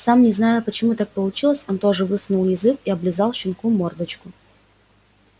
сам не зная почему так получилось он тоже высунул язык и облизал щенку мордочку